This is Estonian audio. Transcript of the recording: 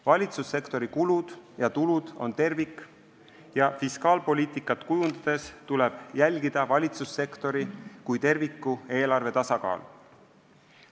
Valitsussektori kulud ja tulud on tervik ja fiskaalpoliitikat kujundades tuleb jälgida valitsussektori kui terviku eelarve tasakaalu.